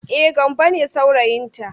E, Gambo ne saurayinta.